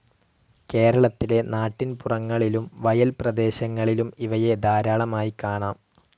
കേരളത്തിലെ നാട്ടിൻപുറങ്ങളിലും വയൽപ്രദേശങ്ങളിലും ഇവയെ ധാരാളമായി കാണാം.